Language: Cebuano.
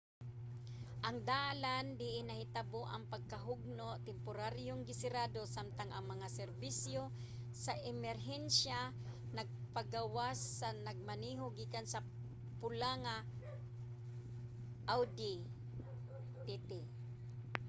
ang dalan diin nahitabo ang pagkahugno temporaryong gisirado samtang ang mga serbisyo sa emerhensya nagapagawas sa nagmaneho gikan sa pula nga audi tt